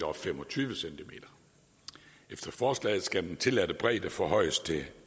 og fem og tyve cm efter forslaget skal den tilladte bredde forhøjes til